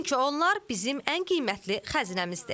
Çünki onlar bizim ən qiymətli xəzinəmizdir.